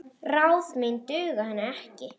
Ráð mín duga henni ekki.